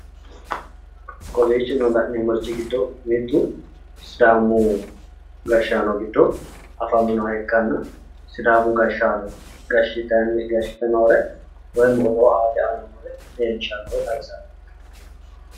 kowiichino la'nemmorichi giddu mittu sidaamu gashshaano giddo afaminoha ikkanna sidaamu gashshaano gshshite noore odoo aanni xawisanno